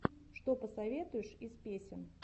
что посоветуешь из песен